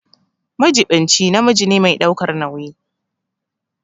Majiɓinci namiji ne mai ɗaukar nauyi.